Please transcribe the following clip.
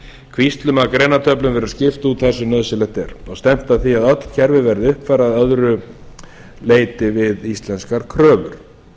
kvíslum að greinatöflum verður skipt út þar sem nauðsynlegt er og stefnt að því að öll kerfi verði uppfærð að öðru leyti við íslenskar kröfur